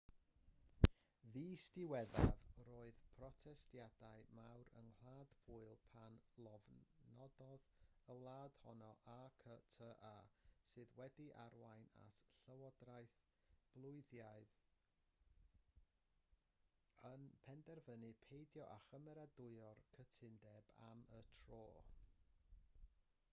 fis diwethaf roedd protestiadau mawr yng ngwlad pwyl pan lofnododd y wlad honno acta sydd wedi arwain at y llywodraeth bwylaidd yn penderfynu peidio â chymeradwyo'r cytundeb am y tro